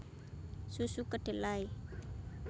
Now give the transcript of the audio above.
Susu Kedelai